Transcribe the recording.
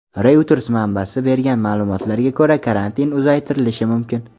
Reuters manbasi bergan ma’lumotga ko‘ra, karantin uzaytirilishi mumkin.